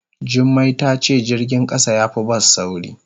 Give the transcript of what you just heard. Jummai ta ce jirgin kasa ya fi bas sauri.